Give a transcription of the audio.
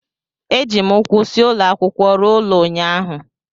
Eji m ụkwụ si ụlọ akwụkwọ ruo ụlọ ụnyahụ